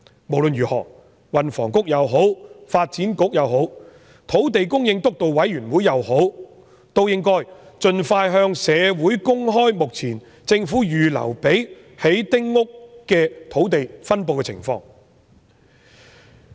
無論如何，運輸及房屋局、發展局或土地供應督導委員會都應該盡快向社會公開政府目前預留作興建丁屋的土地的分布情況。